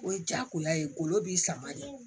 O ye jagoya ye golo b'i sama de